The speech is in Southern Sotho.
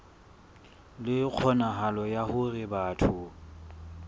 le kgonahalo ya hore batho